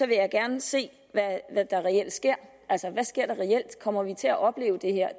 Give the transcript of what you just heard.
vil jeg gerne se hvad der reelt sker kommer vi til at opleve det her